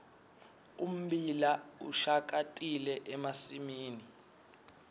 ummbila ushakatile emasimini